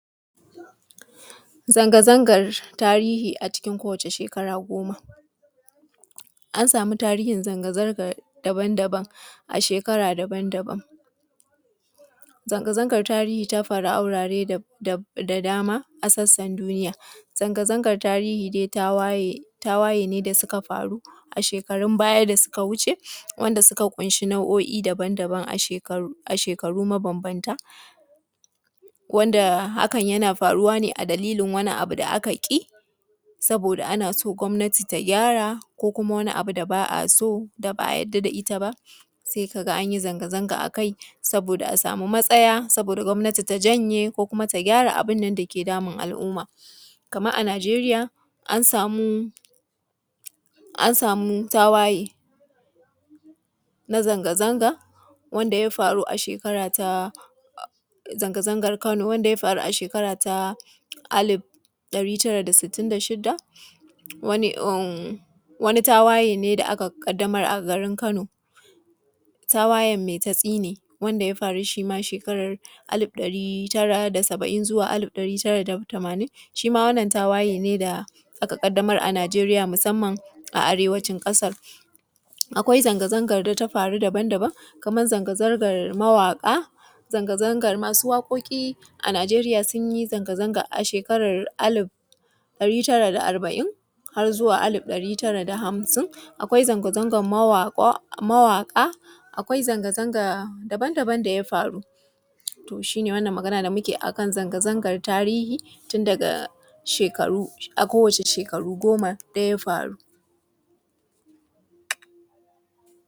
Zanga-zangar tarihi a cikin kowace shekara goma, an samu tarihin zanga-zanga daban-daban a shekara daban-daban. Zanga-zanga tarihi ta faru a wurare a sassan duniya, tawaye ne da suka faru a shekarun baya da suka wuce wanda suka ƙunshi nau’o’i daban-daban a shekara daban-daban wanda hakan na faruwa ne a dalilin wani abu da aka yi saboda ana so gwamnati ta gyara ko kuma wani abu da ba a so sai ka ga an yi zanga-zanga akai saboda a samu matsaya ko kuma gwamnati ta janye abin da ke damun al’umma. Kamar a Najeriya an samu tawaye na zanga-zanga wanda ya faru a shekara ta shekara ɗari tara da sittin da shida, zanga-zangar Kano, tawayen Maitatsine wanda ya faru shi ma a shekaran shekara ɗari tara da saba’in zuwa shekara ɗari tara da tamanin, shi ma wannan tawaye ne da ya faru a Najeriya musamman a arewacin ƙasar. Akwai zanga-zanga da ta faru daban kamar zanga-zangar mawaƙa sun yi zanga-zanga a shekarar shekara ɗari tara da arba’in har zuwa shekara ɗari tara da hamsin. Akwai zanga-zanga daban-daban da ya faru shi ne abin da muke magana, zanga-zangar shekaru da suka faru.